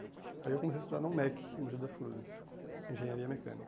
Aí eu comecei a estudar na UMEC, em Mogi das Flores, Engenharia Mecânica.